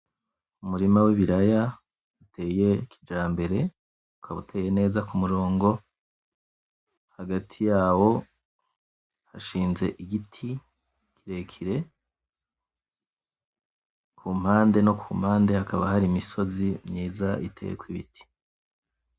Umurima w'ibiraya uteye kijambere ukaba uteye neza ku murongo hagati yawo hashinze igiti kirekire kumpande no kumpande hakaba hari imisozi myiza iteyeko ibiti.